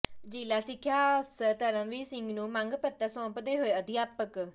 ਜ਼ਿਲ੍ਹਾ ਸਿੱਖਿਆ ਅਫਸਰ ਧਰਮਵੀਰ ਸਿੰਘ ਨੂੰ ਮੰਗ ਪੱਤਰ ਸੌਂਪਦੇ ਹੋਏ ਅਧਿਆਪਕ